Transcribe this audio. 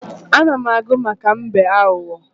Ana m agụ maka mbe aghụghọ.